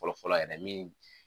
Fɔlɔ fɔlɔ yɛrɛ min